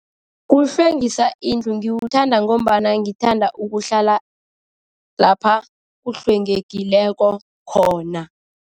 Kuhlwengisa indlu. Ngiwuthanda ngombana ngithanda ukuhlala lapha kuhlwengekileko khona.